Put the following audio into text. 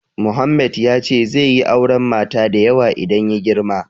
Mohammed ya ce zai yi auren mata da yawa idan ya girma.